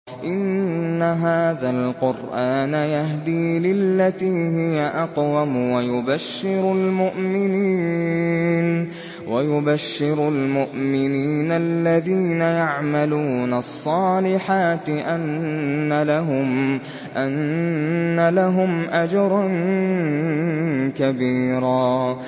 إِنَّ هَٰذَا الْقُرْآنَ يَهْدِي لِلَّتِي هِيَ أَقْوَمُ وَيُبَشِّرُ الْمُؤْمِنِينَ الَّذِينَ يَعْمَلُونَ الصَّالِحَاتِ أَنَّ لَهُمْ أَجْرًا كَبِيرًا